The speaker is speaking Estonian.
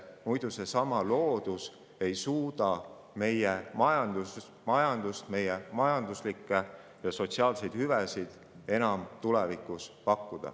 Muidu ei suuda loodus enam tulevikus meile majanduslikke ja sotsiaalseid hüvesid pakkuda.